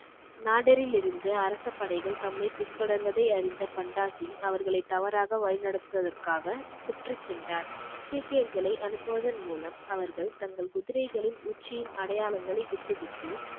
நாடரிலிருந்து அரச படைகள் தம்மை பின் தொடர்வதை அறிந்த பண்டாசிங் அவர்களை தவறாக வழி நடத்துவதற்காக சுற்றிச் சென்றார் சீக்கியர்களை அனுப்புவதன் மூலம் அவர்கள் தங்கள் குதிரைகளின் உச்சியின் அடையாளங்களை விட்டுவிட்டு